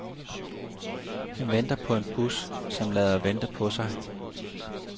Han venter på en bus, som lader vente på sig.